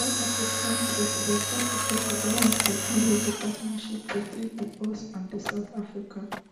di south african president start to tok about one technology partnership between di us and south africa